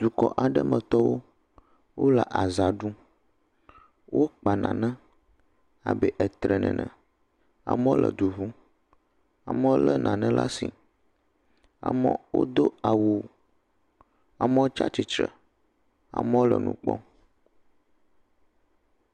Tokɔ aɖe metɔwo, wole aza ɖum, wokpa nane abe etre ene, amewo le du ŋum, amewo lé nane ɖe asi, amewo do awu, amewo tsi atsitre, amewo le nu kpɔm.